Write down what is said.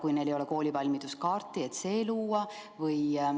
Neil ehk ei ole koolivalmiduskaarti ja see tuleb luua.